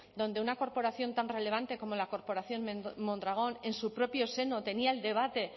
donde una corporación tan relevante como la corporación mondragón en su propio seno tenía el debate